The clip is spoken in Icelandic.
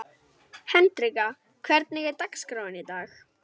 Hendrikka, hvernig er dagskráin í dag?